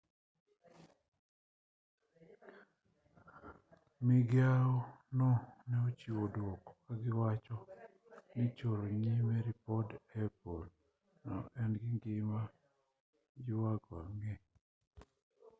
migao no ne ochiwo dwoko kagiwacho ni choro nyime ripod apple no en gima kelo yuago ang'e